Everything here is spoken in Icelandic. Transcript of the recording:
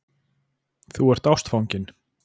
Þú ert ástfanginn.